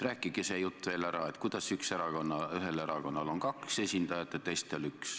Rääkige see jutt ka veel ära, kuidas ühel erakonnal on kaks esindajat ja teistel üks.